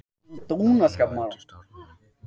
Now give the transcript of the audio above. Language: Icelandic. Lognið á undan storminum